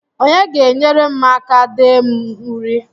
Onye ga-enyere m aka dee m uri?